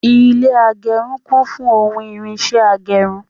Ilé agẹrun kún fún ohun irinṣẹ agẹrun